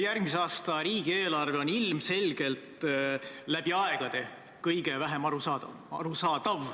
Järgmise aasta riigieelarve on ilmselgelt läbi aegade kõige vähem arusaadav.